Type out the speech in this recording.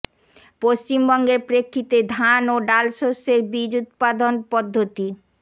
পশ্চিমবঙ্গের প্রেক্ষিতে ধান ও ডাল শস্যের বীজ উৎপাদন পদ্ধতি